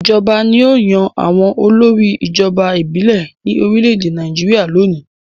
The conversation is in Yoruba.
Ìjọba ni ó yan àwọn olórí ìjọba ìbílẹ̀ ní orílẹ̀-èdè Nàìjíríà lónìí.